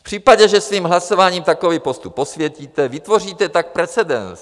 V případě, že svým hlasováním takový postup posvětíte, vytvoříte tak precedens.